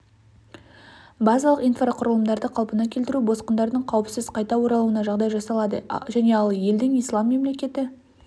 базалық инфрақұрылымдарды қалпына келтіру босқындардың қауіпсіз қайта оралуына жағдай жасалады және ал елдің ислам мемлекеті